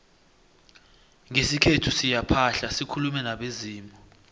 ngesikhethu siyaphahla sikulume nabezimu